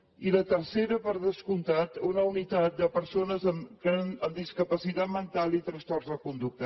i la tercera per descomptat una unitat de persones amb discapacitat mental i trastorns de conducta